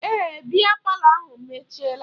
Èè, biya palọ ahụ emechiela